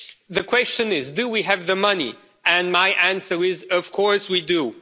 healthcare. The question is, do we have the money? And my answer is of